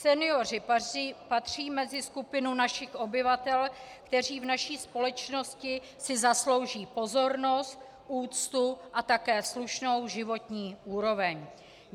Senioři patří mezi skupinu našich obyvatel, kteří v naší společnosti si zaslouží pozornost, úctu a také slušnou životní úroveň.